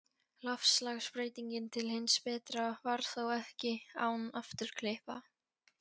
Loftslagsbreytingin til hins betra varð þó ekki án afturkippa.